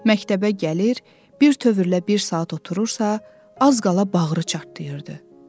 Məktəbə gəlir, bir tövrlə bir saat oturursa, az qala bağırı çartlayırdı.